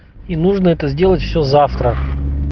и нужно это сделать все завтра